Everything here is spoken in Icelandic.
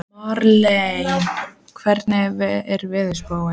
Marlena, hvernig er veðurspáin?